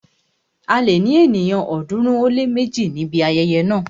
A lè ní ènìyàn ọ̀ọ́dúnrún ó lé méje níbi ayẹyẹ náà.